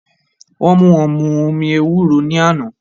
Wọ́n mú wọn mu omi ewúro ní àná